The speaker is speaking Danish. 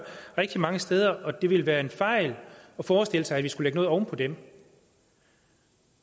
rigtig mange steder og det ville være en fejl at forestille sig at vi skulle lægge noget oven på dem